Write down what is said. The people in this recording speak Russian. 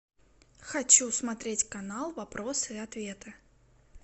хочу смотреть канал вопросы и ответы